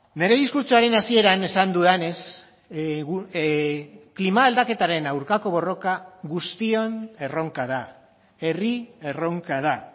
nire diskurtsoaren hasieran esan dudanez klima aldaketaren aurkako borroka guztion erronka da herri erronka da